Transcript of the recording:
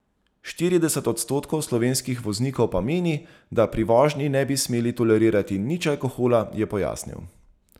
Štirideset odstotkov slovenskih voznikov pa meni, da pri vožnji ne bi smeli tolerirati nič alkohola, je pojasnil.